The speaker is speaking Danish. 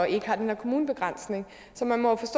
ikke har den her kommunebegrænsning så